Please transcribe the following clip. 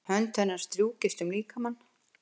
Hönd hennar strjúkast um líkamann.